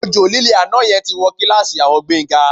Òjò lílé àná yẹn ti wó kíláàsì àwọn Gbénga